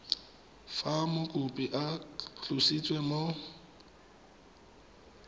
fa mokopi a tlositswe mo